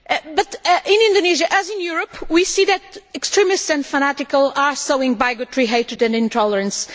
But in Indonesia, as in Europe, we see that extremists and fanatics are sowing bigotry, hatred and intolerance.